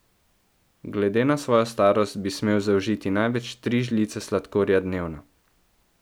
Glede na svojo starost bi smel zaužiti največ tri žlice sladkorja dnevno.